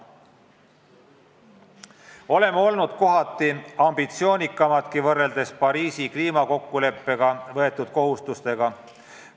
Oleme olnud kohati ambitsioonikamadki, kui Pariisi kliimakokkuleppega võetud kohustused ette näevad.